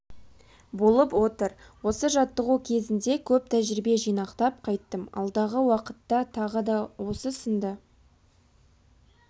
болып отыр осы жаттығу кезінде көп тәжірибе жинақтап қайттым алдағы уақытта тағы да осы сынды